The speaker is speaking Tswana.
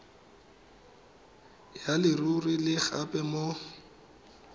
ya leruri le gape mo